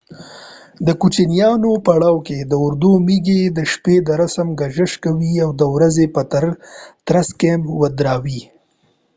د کوچيانو پړاو کي د اُردو ميږې د شپي رسم ګذشت کوي او د ورځي په ترس کيمپ ودراوې